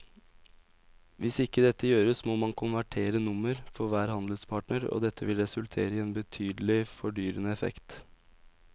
Hvis ikke dette gjøres må man konvertere nummer for hver handelspartner og det vil resultere i en betydelig fordyrende effekt.